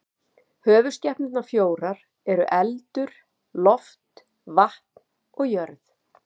Höfuðskepnurnar fjórar eru eldur, loft, vatn og jörð.